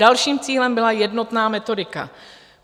Dalším cílem byla jednotná metodika.